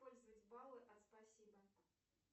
использовать баллы от спасибо